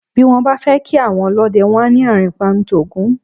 Bí wọ́n bá fẹ́ kí àwọn ọlọ́dẹ, wọ́n á ní "àrìnpa ń t'Ògún o".